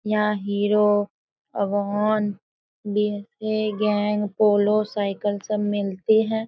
यहाँ Hero Avon गैंग Polo cycle सब मिलते हैं